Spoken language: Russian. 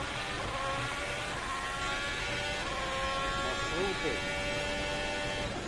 маршруты